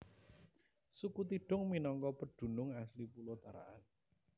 Suku Tidung minangka pedunung asli pulo Tarakan